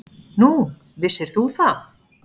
Nú, vissir þú það?